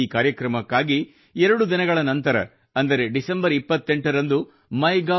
ಈ ಕಾರ್ಯಕ್ರಮಕ್ಕಾಗಿ ಎರಡು ದಿನಗಳ ನಂತರ ಅಂದರೆ ಡಿಸೆಂಬರ್ 28 ರಂದು MyGov